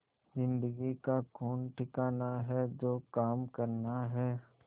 जिंदगी का कौन ठिकाना है जो काम करना है